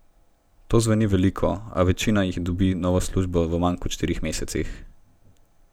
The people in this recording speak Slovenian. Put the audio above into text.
To zveni veliko, a večina jih dobi novo službo v manj kot štirih mesecih.